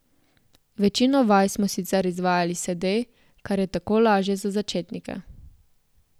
Večino vaj smo sicer izvajali sede, ker je tako lažje za začetnike.